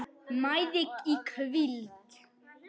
mæði í hvíld